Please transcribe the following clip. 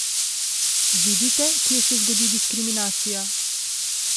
Vidite, kje se zgodi diskriminacija?